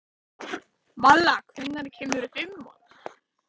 Malla, hvenær kemur fimman?